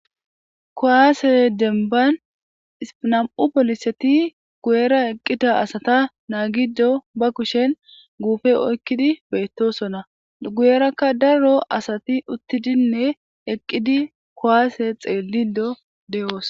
Kuwaase denban ispinam'u poliseti guyera eqqita asata naa giddo ba kushen guufe oykkidi beettosona guyerakka daro asati uttidinne eqqidi kowaase xeelido de'oos.